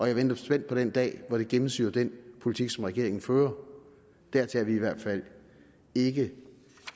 jeg venter spændt på den dag hvor det gennemsyrer den politik som regeringen fører dertil er vi i hvert fald ikke